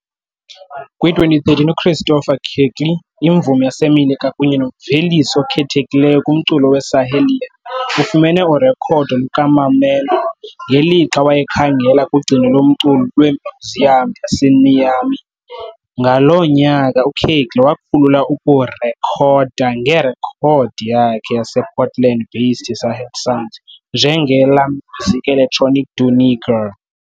Kwi-2013, uChristopher Kirkley, imvumi yaseMelika kunye nomvelisi okhethekileyo kumculo weSahelian, ufumene urekhodo lukaMamman ngelixa wayekhangela kugcino lomculo lwemyuziyam yaseNiamey. Ngaloo nyaka uKirkley wakhulula ukurekhoda ngerekhodi yakhe yasePortland-based Sahel Sounds, njenge "La Musique Electronique du Niger".